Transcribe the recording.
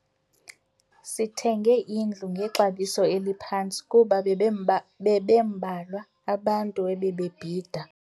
Sithenge indlu ngexabiso eliphantsi kuba bebembalwa abantu ebebebhida.